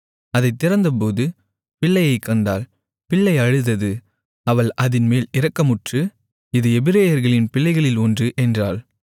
அதைத் திறந்தபோது பிள்ளையைக்கண்டாள் பிள்ளை அழுதது அவள் அதின்மேல் இரக்கமுற்று இது எபிரெயர்களின் பிள்ளைகளில் ஒன்று என்றாள்